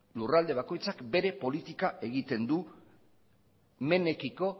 lurralde bakoitzak bere politika egiten du menaekiko